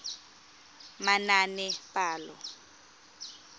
manaanepalo